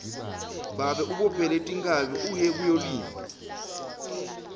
babe ubophele tinkhabi uye kuyolima